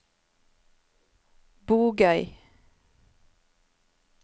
Bogøy